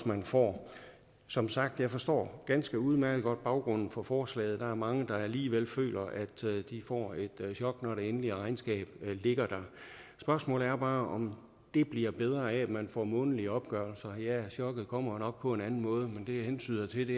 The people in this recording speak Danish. man får som sagt forstår ganske udmærket godt baggrunden for forslaget der er mange der alligevel føler at de får et chok når det endelige regnskab ligger der spørgsmålet er bare om det bliver bedre af at man får månedlige opgørelser ja chokket kommer jo nok på en anden måde men det jeg hentyder til